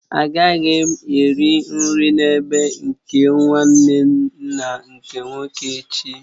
Agaghị m eri nri n'ebe nke nwanne nna nke nwoke echi